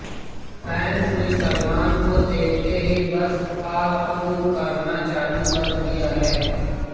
fans ने सलमान को देखते ही बस आह ऊह करना चालू कर दिया है